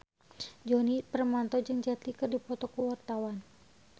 Djoni Permato jeung Jet Li keur dipoto ku wartawan